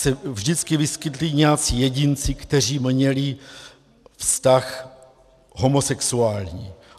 ... se vždycky vyskytli nějací jedinci, kteří měli vztah homosexuální.